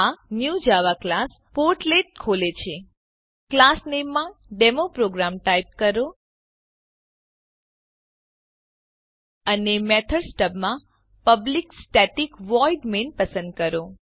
આ new Java class portlet ખોલે છે ક્લાસ નેમ માં ડેમોપ્રોગ્રામ ટાઈપ કરો અને મેથડ સ્ટબ માં પબ્લિક સ્ટેટિક વોઇડ મેઇન પસંદ કરો